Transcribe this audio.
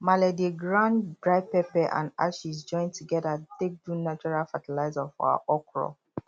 malee dey grind dry pepper and ashes join together take do natural fertiliser for her okro